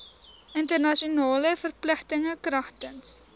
internasionale verpligtinge kragtens